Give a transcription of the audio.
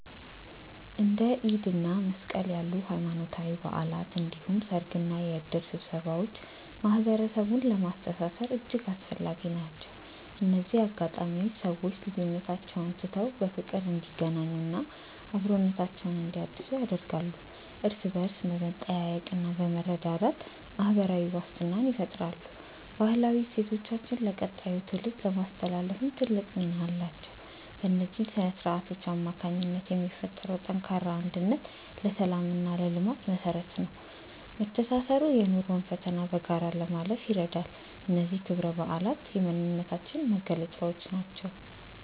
እንደ ኢድ እና መስቀል ያሉ ሃይማኖታዊ በዓላት እንዲሁም ሰርግና የእድር ስብሰባዎች ማህበረሰቡን ለማስተሳሰር እጅግ አስፈላጊ ናቸው። እነዚህ አጋጣሚዎች ሰዎች ልዩነቶቻቸውን ትተው በፍቅር እንዲገናኙና አብሮነታቸውን እንዲያድሱ ያደርጋሉ። እርስ በእርስ በመጠያየቅና በመረዳዳት ማህበራዊ ዋስትናን ይፈጥራሉ። ባህላዊ እሴቶቻችንን ለቀጣዩ ትውልድ ለማስተላለፍም ትልቅ ሚና አላቸው። በእነዚህ ስነ-ስርዓቶች አማካኝነት የሚፈጠረው ጠንካራ አንድነት ለሰላምና ለልማት መሰረት ነው። መተሳሰሩ የኑሮን ፈተና በጋራ ለማለፍ ይረዳል። እነዚህ ክብረ በዓላት የማንነታችን መገለጫዎች ናቸው።